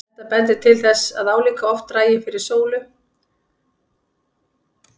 Gerðu athugasemd við launahækkun bæjarstjóra